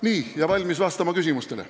Nii, olen valmis vastama küsimustele.